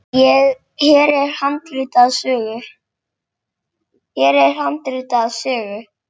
Hér er handrit að sögu.